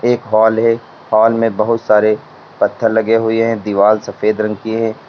एक हॉल है हॉल में बहुत सारे पत्थर लगे हुए है दिवाल सफेद रंग की है।